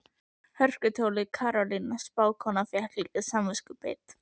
Hörkutólið Karólína spákona fékk líka samviskubit.